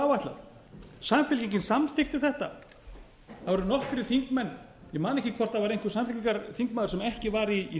áætlað samfylkingin samþykkti þetta það voru nokkrir þingmenn ég man ekki hvort það var einhver samfylkingarþingmaður sem ekki var í